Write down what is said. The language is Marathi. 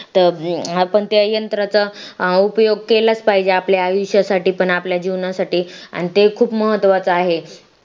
आपण त्या यंत्राचा उपयोग केलाच पाहिजे आपल्या आयुष्यासाठी पण आपल्या जीवनासाठी आणि ते खूप महत्त्वाचा आहे